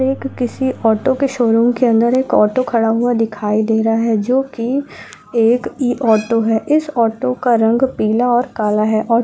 एक किसी ऑटो के शोरूम के अंदर एक ऑटो खड़ा हुआ दिखाई दे रहा है जो की एक इ-ऑटो है इस ऑटो का रंग पीला और काला है और --